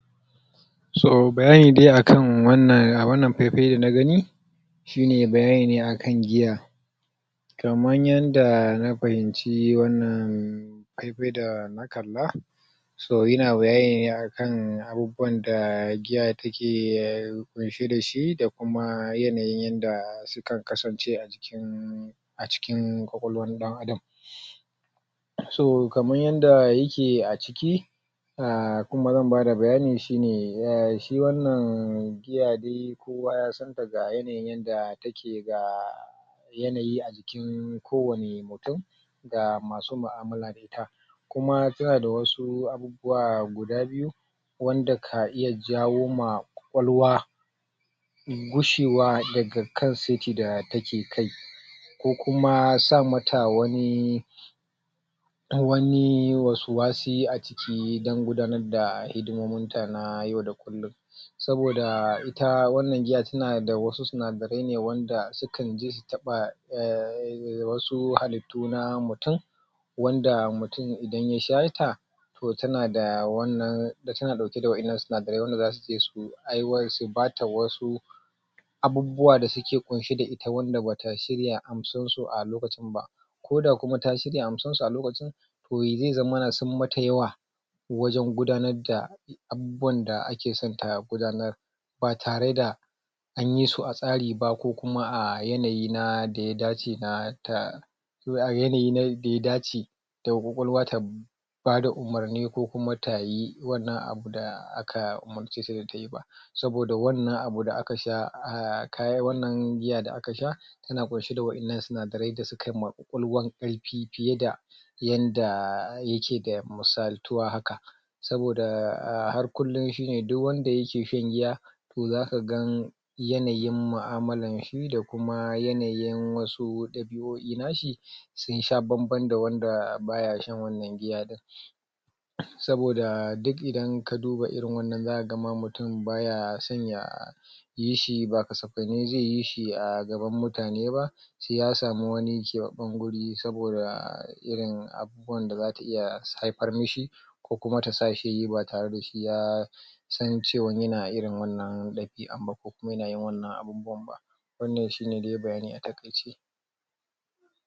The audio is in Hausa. so bayani dai akan wannan fai fai dana gani shine bayani ne akan giya kaman yanda na fahimci wannan fai fai dana kalla so yana bayani ne akan abubuwa da giya yake kunshe dashi da kuma yanayi yanda sukan kasance a jikin a cikin ƙwaƙwaluwan dan adam so kaman yanda yake a ciki um kuma zan bada bayani shine um shi wannan giya dai kowa yasan toh ga yanayin yanda take da yanayi a jikin kowani mutum ga masu mu'amala da ita kuma suna da wasu abubuwa guda biyu wanda kan iya jawo ma ƙwaƙwaluwa gushewa daga kan seti da take kai ko kuma sa mata wani wani waswasi a jiki dan gudanar da hidmomin ta na yau da kullun saboda ita wannan giya tana da wasu sinadarai ne wanda sukan taba um wasu halittu na mutun wanda mutum idan ya sha ta toh tana da wannan tana dauke da wa'ennan sinadarai da zasuje su ɓata wasu abubuwa da suke kunshe da ita wanda bata shirya amsan su a lokacin ba ko da kuma ta shirya asan su a lokacin zai zama sun mata yawa wajen gudanar da abubuwan da akeso ta gudanar ba tare da anyi su a tsari ba ko kuma a yanayi da ya dace na ko a yanayi na daya dace toh ƙwaƙwaluwa ta badaumurni ko kuma tayi wannan abu da aka umurce ta tayi ba saboda wannan abu da aka sha a kawo wannan giyan da aka sha tana kunshi da wa'ennan sinadarai da suka ma ƙwakwaluwan karfi fiye da yanda yake da musaltuwa haka saboda har kullun shine duk wanda yake sha giya toh zaka gan yanayin mu'amala shi da kuma yanayin wasu dabio'i nashi sun sha bamban da wanda baya shan wannan giya din saboda duk idan ka duba irin wannnan zaka ga ma mutum baya son ya yi shi ba kasafa ne zai yi hi a gaban mutane ba sai ya samu wani ƙebabban guri saboda irin abubuwan da zata iya haifar mishi ko kuma ta sa shi ba tare da shi ya san cewan yana irin wannan yana yin wannan abubuwan ba wannan shine bayani a takaice